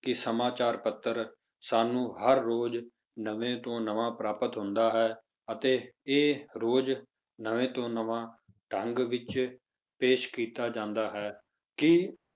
ਕਿ ਸਮਾਚਾਰ ਪੱਤਰ ਸਾਨੂੰ ਹਰ ਰੋਜ਼ ਨਵੇਂ ਤੋਂ ਨਵਾਂ ਪ੍ਰਾਪਤ ਹੁੰਦਾ ਹੈ ਅਤੇ ਇਹ ਰੋਜ਼ ਨਵੇਂ ਤੋਂ ਨਵਾਂ ਢੰਗ ਵਿੱਚ ਪੇਸ਼ ਕੀਤਾ ਜਾਂਦਾ ਹੈ ਕੀ